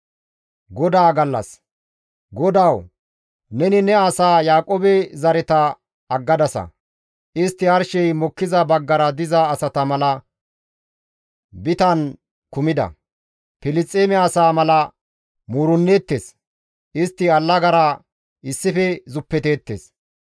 GODAWU! Neni ne asaa Yaaqoobe zareta aggadasa. Istti arshey mokkiza baggara diza asata mala bitan kumida; Filisxeeme asaa mala muurenneettes. Istti allagara issife zuppeteettes.